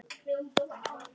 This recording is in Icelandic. Togi hann.